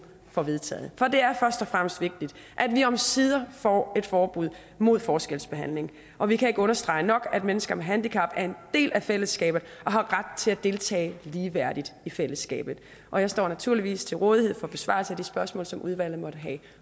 får vedtaget for det er først og fremmest vigtigt at vi omsider får et forbud mod forskelsbehandling og vi kan ikke understrege nok at mennesker med handicap er en del af fællesskabet og har ret til at deltage ligeværdigt i fællesskabet og jeg står naturligvis til rådighed for besvarelse af de spørgsmål som udvalget måtte have